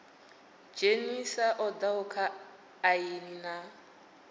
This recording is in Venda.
dzhenisa oda kha aini na